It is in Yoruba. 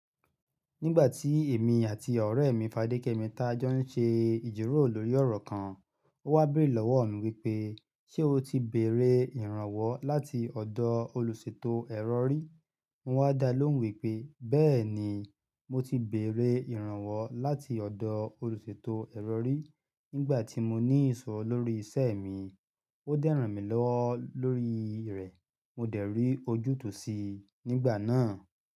Nígbà tí èmi àti ọ̀rẹ́ mi Fadékẹ́mi taájọ́ ń ṣe ìjíròrò lórí ọ̀rọ̀ kan, ó wá beere lọ́wọ́ mi wípé, "Ṣé o ti beèrè ìrànwọ́ láti ọ̀dọ̀ olùṣètò ẹ̀rọ rì?" Mo wá dá lóhùn wípé, "Bẹ́ẹ̀ni, mo ti bèerè ìrànwọ́ láti ọ̀dọ̀ olùṣètò ẹ̀rọ rì. Nígbà tí mo ní ìṣòro lórí iṣẹ́ mi, ó dẹ́ ran mi lọ́wọ́ lórí rẹ̀. Mo dẹ̀ rí ojútùú sí i nígbà náà."